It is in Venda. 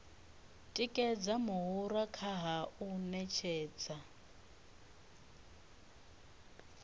tikedza muhura kha u ṅetshedza